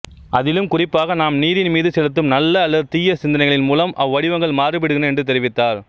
அதிலும் குறிப்பாக நாம் நீரின் மீது செலுத்தும் நல்ல அல்லது தீயச் சிந்தனைகளின் மூலம் அவ்வடிவங்கள் மாறுபடுகின்றன என்று தெரிவித்தார்